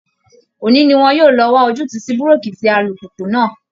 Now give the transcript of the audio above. Òní ni wọn yóò lọ wá ojútùú sí búréèkì tí alùpùpù náà